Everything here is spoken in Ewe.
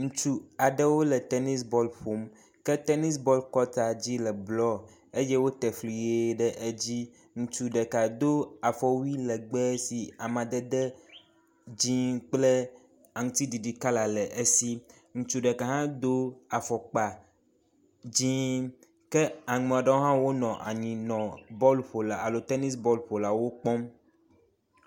ŋutsu aɖewo le tenis bɔl ƒom ke tenis bɔl kɔta dzi le blɔ eye wó tefli ɣi ɖe dzí ŋutsu ɖeka dó afɔwui legbe si amadede dzĩ kple aŋtsiɖiɖi ƒe kala le esi ŋutsu ɖeka hã dó afɔkpa dzĩ ke amɔɖowo hã wó nɔ anyi nɔ bɔl ƒola alo tenis bɔl ƒolawo kpɔm